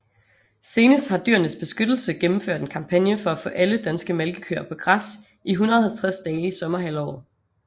Senest har Dyrenes Beskyttelse gennemført en kampagne for at få alle danske malkekøer på græs i 150 dage i sommerhalvåret